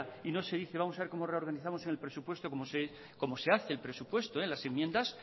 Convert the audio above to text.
y no se dice vamos a ver cómo reorganizamos el presupuesto como se hace el presupuesto en las enmiendas